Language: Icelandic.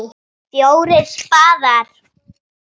FJÓRIR spaðar.